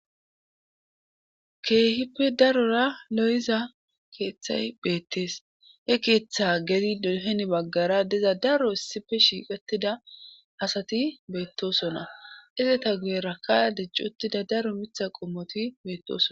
keehippe darora lo7iza keeththay beettees he keeththa gedi duhen baggara diza daro issife shiiqattida asati beettosona izeta guye rakka dijc uttida daro mitha qommoti beettoson